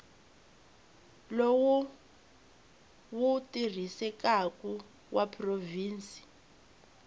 lowu wu tirhisekaku wa provhinsi